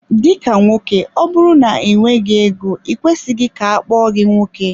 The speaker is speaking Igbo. Dika nwoke ma ọbụrụ na i nweghị ego i kwesịghị ka akpọọ gi nwoke.